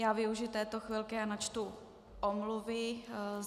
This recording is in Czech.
Já využiji této chvilky a načtu omluvy.